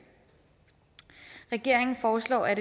regeringen foreslår at